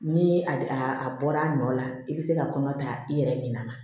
Ni a bɔra a nɔ la i bɛ se ka kɔnɔ ta i yɛrɛ ɲina